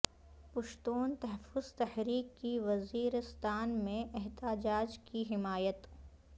پشتون تحفظ تحریک کی وزیرستان میں احتجاج کی حمایت